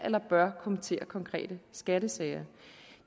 eller bør kommentere konkrete skattesager